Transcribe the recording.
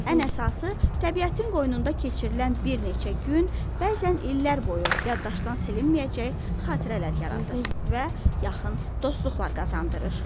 Ən əsası təbiətin qoynunda keçirilən bir neçə gün bəzən illər boyu yaddaşdan silinməyəcək xatirələr yaradır və yaxın dostluqlar qazandırır.